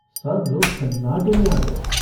सब लोग सन्नाटे में आ गये।